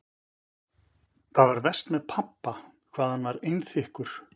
Það var verst með pabba hvað hann var einþykkur.